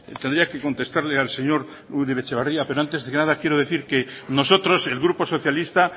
tendría que contestarle al señor uribe etxebarria pero antes de nada quiero decir que nosotros el grupo socialista